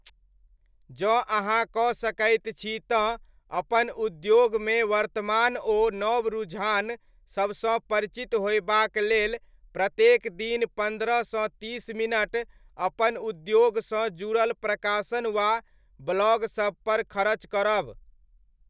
जँ अहाँ कऽ सकैत छी तँ अपन उद्योगमे वर्तमान ओ नव रुझान सबसँ परिचित होयबाक लेल प्रत्येक दिन पन्द्रह सँ तीस मिनट अपन उद्योगसँ जुड़ल प्रकाशन वा ब्लॉग सबपर खरच करब।